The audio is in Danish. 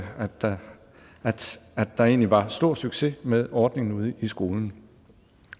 der egentlig var stor succes med ordningen ude i skolen